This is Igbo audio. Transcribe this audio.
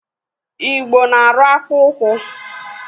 Igbo na-arụ akpụụkwụ.